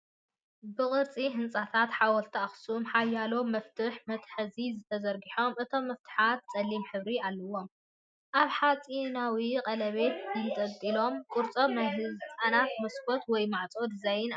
ብቅርጺ ህንጻታት ሓወልቲ ኣክሱም ሓያሎ መፍትሕ መትሓዚታት ተዘርጊሖም። እቶም መፍትሕታት ጸሊም ሕብሪ ኣለዎም። ኣብ ሓጺናዊ ቀለቤት ይንጠልጠልጢሉሎም ቅርጾም ናይ ህንጻ መስኮት ወይ ማዕጾ ዲዛይን ኣለዎ።